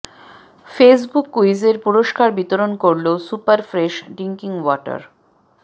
Facebook কুইজের পুরস্কার বিতরণ করল সুপার ফ্রেশ ড্রিংকিং ওয়াটার